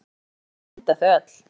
Og þá væri hægt að mynda þau öll.